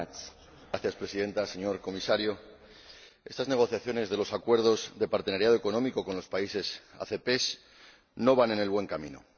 Señora Presidenta, señor Comisario, estas negociaciones de los acuerdos de asociación económica con los países ACP no van por el buen camino.